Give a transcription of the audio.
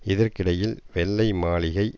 இதற்கிடையில் வெள்ளை மாளிகை